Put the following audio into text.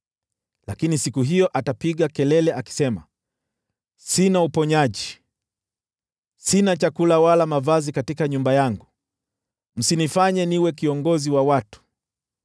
Lakini siku hiyo atapiga kelele akisema, “Sina uponyaji. Sina chakula wala mavazi katika nyumba yangu, msinifanye niwe kiongozi wa watu.”